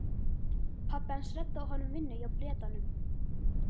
Pabbi hans reddaði honum vinnu hjá Bretanum.